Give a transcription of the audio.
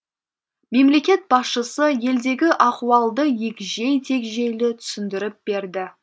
мемлекет басшысы елдегі ахуалды егжей тегжейлі түсіндіріп берді